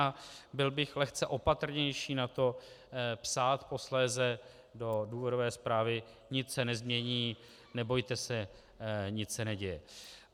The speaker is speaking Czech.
A byl bych lehce opatrnější na to psát posléze do důvodové zprávy: nic se nezmění, nebojte se, nic se neděje.